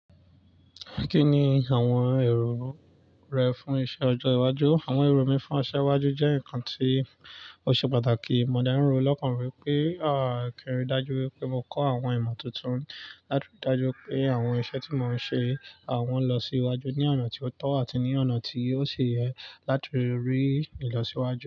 Kí ni àwọn èrò rẹ fún iṣẹ́ ọjọ́ iwájú? Àwọn èrò mi fún iṣẹ́ iwájú jẹ́ nǹkan tí ó ṣe pàtàkì. Mo dárìnrò lọ́pọ̀ ìfẹ́ pé, àá kí n rí dájú wípé mo kọ́ àwọn ìmọ̀ tuntun láti rí dájú pé àwọn iṣẹ́ tí mò ń ṣe, àwọn lọ sí iwájú ní ọ̀nà tí ó tọ́ àti ní ọ̀nà tí ó ṣe yẹ láti rí ìlọsíwájú.